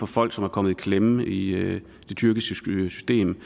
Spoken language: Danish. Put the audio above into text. folk som er kommet i klemme i det tyrkiske system